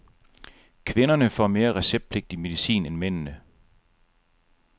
Kvinderne får mere receptpligtig medicin end mændene.